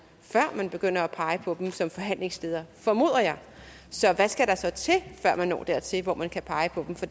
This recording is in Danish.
før man begynder at pege på som forhandlingsleder formoder jeg så hvad skal der så til før man når dertil hvor man kan pege på dem for